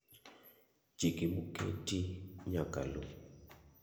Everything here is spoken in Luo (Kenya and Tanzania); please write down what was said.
Chike moketi nyaka lu.